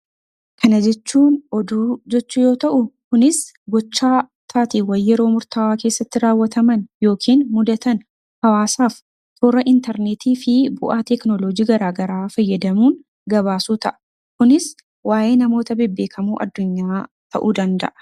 Kana jechuun oduu jechuu yoo ta'u, kunis gochaa yeroo murtaa'aa keessatti raawwataman yookiin mudatan hawaasaaf toora intarneetii fi wantoota garaagaraa fayyadamuun gabaasuu ta'a. Kunis waayee namoota bebbeekamoo addunyaa ta'uu danda'a.